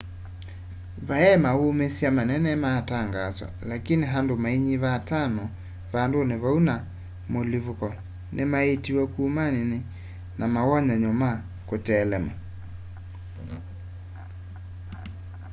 va yaĩ maũũmĩsya manene maatangaswa laĩkĩnĩ andũ maĩnyĩva atano vandũnĩ vaũ va mũlĩvũko nĩmaĩĩtĩwe kũman na mawonyanyo ma kũtelema